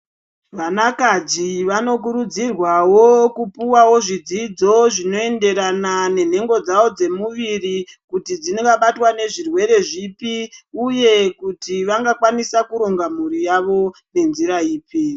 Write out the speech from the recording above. Vakadzi vanokurudzirwawo kupuwawo zvidzidzo zvinoenderana nenhengo dzavo dzemuviri kuti dzibata nezvirwere zvipi uye kuti vangakwanisa kuronga mhuri yavo nenzira ipi.